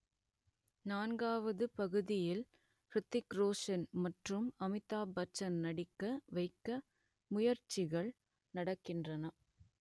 நான்காவது பாகத்தில் ஹிர்த்திக் ரோஷன் மற்றும் அமிதாப்பச்சனை நடிக்க வைக்க முயற்சிகள் நடக்கின்றன